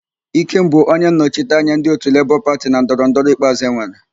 Ikem bụ onyennọchite anya ndị òtù pati Lebọọ na ndọrọndọrọ ikpeazụ enwere.